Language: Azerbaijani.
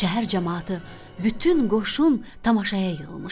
Şəhər camaatı, bütün qoşun tamaşaya yığılmışdı.